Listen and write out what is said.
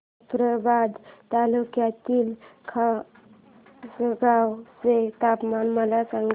जाफ्राबाद तालुक्यातील खासगांव चे तापमान मला सांग